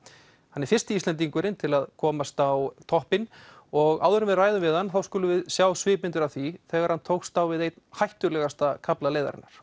hann er fyrsti Íslendingurinn til að komast á toppinn og áður en við ræðum við hann skulum við sjá svipmyndir af því þegar hann tókst á við einn hættulegasta kafla leiðarinnar